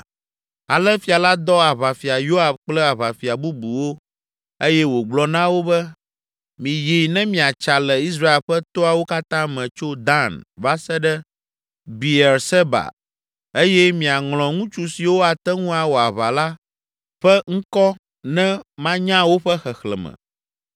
Ale fia la dɔ Aʋafia Yoab kple aʋafia bubuwo eye wògblɔ na wo be, “Miyi ne miatsa le Israel ƒe toawo katã me tso Dan va se ɖe Beerseba eye miaŋlɔ ŋutsu siwo ate ŋu awɔ aʋa la ƒe ŋkɔ ne manya woƒe xexlẽme.”